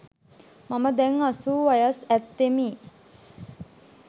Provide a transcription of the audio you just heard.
මම දැන් අසූ වයස් ඇත්තෙමි.